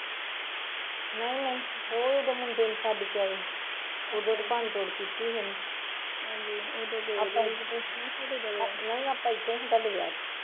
ਨਹੀਂ ਨਹੀਂ ਉਹ ਉਦੋਂ ਮੁੰਡੇ ਨੂੰ ਛੱਡ ਕੇ ਆਏ ਸੀ ਉਦੋਂ ਤਾਂ ਭੰਨ ਤੋੜ ਕੀਤੀ ਸੀ ਉਹਨੇ ਨਹੀਂ ਆਪਾਂ ਇੱਥੇ ਹੀਂ ਸੀ ਤੁਹਾਡੇ ਵਿਆਹ ਚ